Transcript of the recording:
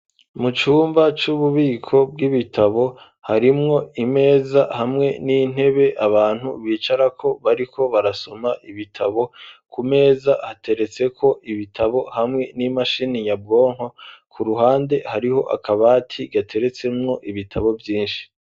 Mu cumba c'ububiko bw'ibitabo harimwo imeza hamwe n'intebe abantu bicara ko bariko barasoma ibitabo ku meza hateretseko ibitabo hamwe n'imashini nyabwonko ku ruhande hariho akabati gateretsemwo ibitabo vyinshi.